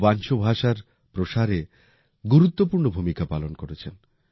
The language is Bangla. উনি ওয়ানচো ভাষার প্রসারে গুরুত্বপূর্ণ ভূমিকা করেছেন